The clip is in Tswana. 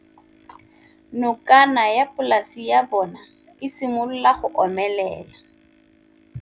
Nokana ya polase ya bona, e simolola go omelela.